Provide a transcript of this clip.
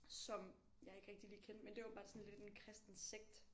Som jeg ikke rigtig lige kendte men det er åbenbart sådan lidt en kristen sekt